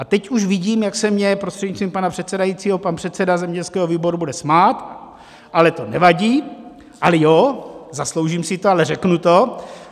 A teď už vidím, jak se mně, prostřednictvím pana předsedajícího, pan předseda zemědělského výboru bude smát, ale to nevadí - ale jo, zasloužím si to, ale řeknu to.